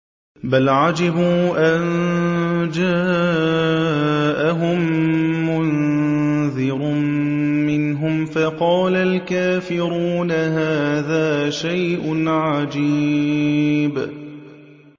بَلْ عَجِبُوا أَن جَاءَهُم مُّنذِرٌ مِّنْهُمْ فَقَالَ الْكَافِرُونَ هَٰذَا شَيْءٌ عَجِيبٌ